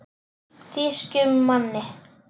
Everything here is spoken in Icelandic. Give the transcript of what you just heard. Þýskum manni.